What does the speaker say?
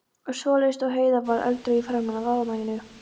og svoleiðis, og Heiða varð eldrauð í framan af ánægju.